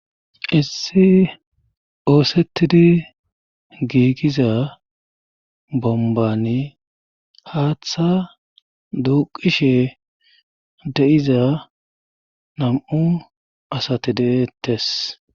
issi oosettidi giigiza bombani haaththa duuqishe de7iza nam7u asati deettes